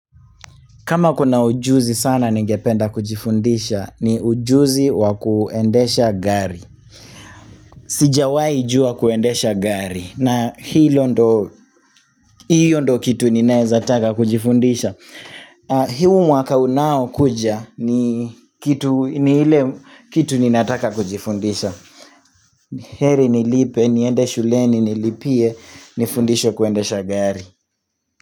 Kama kuna ujuzi sana ningependa kujifundisha ni ujuzi wa kuendesha gari. Sijawai jua kuendesha gari na hilo ndo hiyo ndo kitu ninaweza taka kujifundisha. Huu mwaka unaokuja ni kitu ni ile kitu ninataka kujifundisha. Heri nilipe niende shuleni nilipie nifundishwe kuendesha gari.